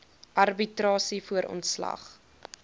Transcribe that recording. arbitrasie voor ontslag